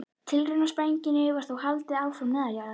Tilraunasprengingum var þó haldið áfram neðanjarðar.